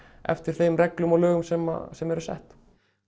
eftir þeim reglum og lögum sem sem eru sett